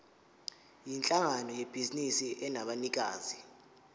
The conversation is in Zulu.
yinhlangano yebhizinisi enabanikazi